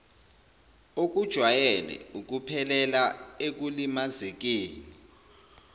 okujwayele ukuphelela ekulimazekeni